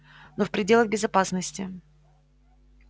но в пределах безопасности